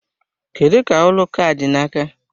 Kedu ka ụlọ ụka a dị n'aka?